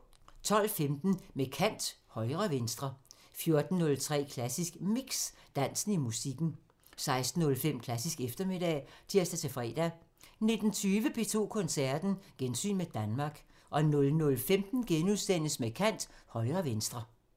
12:15: Med kant – Højre/venstre 14:03: Klassisk Mix – Dansen i musikken 16:05: Klassisk eftermiddag (tir-fre) 19:20: P2 Koncerten – Gensyn med Danmark 00:15: Med kant – Højre/venstre *